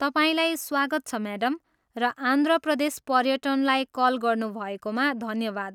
तपाईँलाई स्वागत छ म्याडम र आन्ध्र प्रदेश पर्यटललाई कल गर्नुभएकोमा धन्यवाद।